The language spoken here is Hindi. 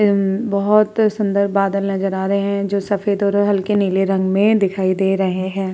हम्म बोहत सुन्दर बादल नजर आ रहे हैं जो सफ़ेद और हल्के नीले रंग में दिखाई दे रहे हैं।